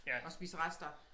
Og spise rester